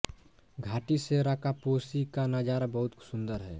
घाटी से राकापोशी का नज़ारा बहुत सुंदर है